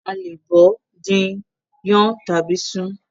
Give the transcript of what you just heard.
A lè bọ̀ọ́, dín in, Yan tàbí sun ún.